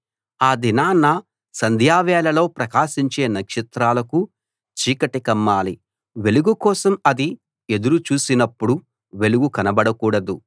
ఆ దినాన సంధ్యవేళలో ప్రకాశించే నక్షత్రాలకు చీకటి కమ్మాలి వెలుగు కోసం అది ఎదురు చూసినప్పుడు వెలుగు కనబడకూడదు